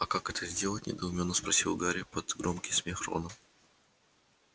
а как это сделать недоуменно спросил гарри под громкий смех рона